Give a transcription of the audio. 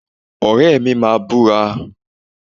Ọ̀rẹ́ mi máa búra